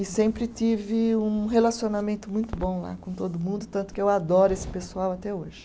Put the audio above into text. E sempre tive um relacionamento muito bom lá com todo mundo, tanto que eu adoro esse pessoal até hoje.